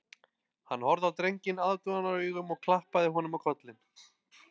Hann horfði á drenginn aðdáunaraugum og klappaði honum á kollinn